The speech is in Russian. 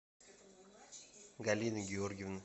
галины георгиевны